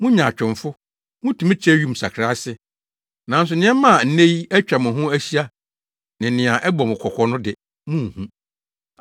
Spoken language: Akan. Mo nyaatwomfo! Mutumi kyerɛ wim nsakrae ase, nanso nneɛma a nnɛ yi atwa mo ho ahyia, ne nea ɛbɔ mo kɔkɔ no de, munhu.